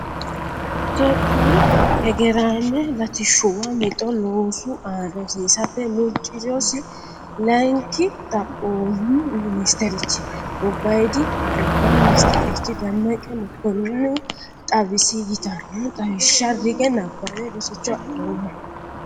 Itophiyu hegeraame latishshuwa mixo loosu aana hosiisate murcirosi layinki xaphoomu minsterchinna gobbaydi hajubba ministerchi Demmeqe Mokkoninihu xawisi yittano xawishsha rige nabbawe rosicho adhoommo.